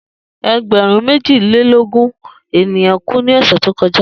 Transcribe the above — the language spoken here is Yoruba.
Egberun meji o le ogun eniyan ku ni ọsẹ to kọja